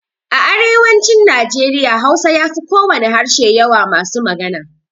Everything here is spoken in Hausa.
A arewacin Nijeriya Hausa ya fi kowane harshe yawa masu magana.